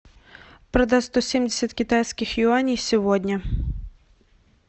продать сто семьдесят китайских юаней сегодня